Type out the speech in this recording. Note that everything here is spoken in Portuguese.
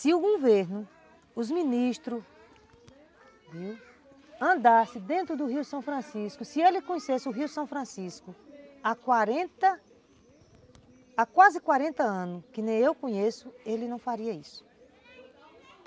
Se o governo, os ministros, viu, andasse dentro do Rio São Francisco, se ele conhecesse o Rio São Francisco há quarenta, há quase quarenta anos, que nem eu conheço, ele não faria isso.